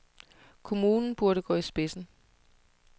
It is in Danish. Kommunen burde gå i spidsen.